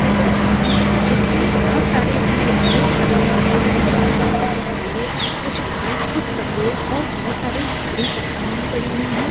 ये एक दूकान है जिसपे बहुत सारे रंग बिरंगे फुल रखे गए है जिसमे से कुछ पीले कुछ लाल कुछ सफेद और बहुत सारे हरी पत्तियां भी पड़ी हुई है। >